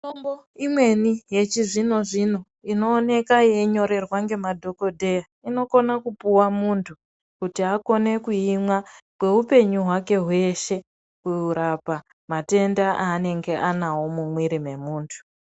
Mitombo imweni yechi zvino zvino ino oneka yei nyorerwa nema dhokoteya inokona kupiwa muntu kuti akone kuimwa kwe hwupenyu hwake hweshe kurapa matenda ainenge anawo mumwiri me muntu.